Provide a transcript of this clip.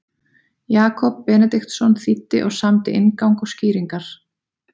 Jakob Benediktsson þýddi og samdi inngang og skýringar.